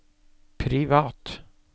privat